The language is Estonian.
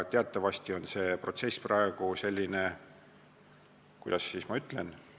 Teatavasti on see protsess praegu – kuidas ma ütlen?